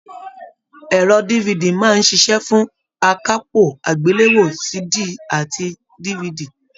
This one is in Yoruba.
Ẹrọ DVD máa n ṣiṣẹ fún akápò agbelewo CD àti DVD.